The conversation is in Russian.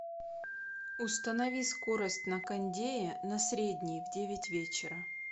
установи скорость на кондее на средний в девять вечера